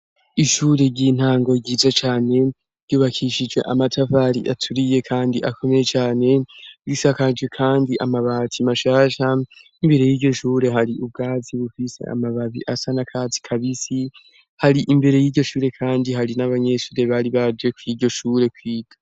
Ishure ry'intango ryiza cane ryubakishije amatavari aturiye kandi akomeye cane bisakaje kandi amabati mashasha imbere y'ijyoshure hari ubwazi bufise amababi asanakazi kabisi hari imbere y'ijyoshure kandi hari n'abanyeshure bari barye kwiryo shure kwiga.